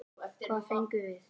Hvað fengum við?